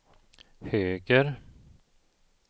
höger